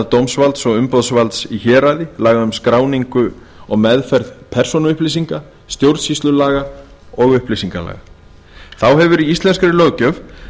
dómsvalds og umboðsvalds í héraði laga um skráningu og meðferð persónuupplýsinga stjórnsýslulaga og upplýsingalaga þá hefur í íslenskri löggjöf verið